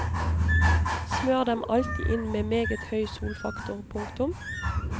Smør dem alltid inn med meget høy solfaktor. punktum